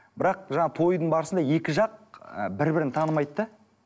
бірақ жаңа тойдың барысында екі жақ ыыы бір бірін танымайды да